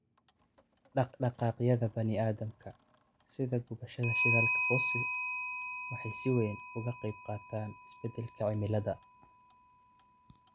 Dhaqdhaqaaqyada bani'aadamka, sida gubashada shidaalka fosil, waxay si weyn uga qaybqaataan isbeddelka cimilada.